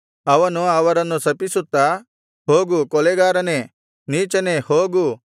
ಅವನು ಅವರನ್ನು ಶಪಿಸುತ್ತಾ ಹೋಗು ಕೊಲೆಗಾರನೆ ನೀಚನೆ ಹೋಗು